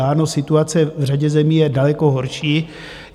Ano, situace v řadě zemí je daleko horší.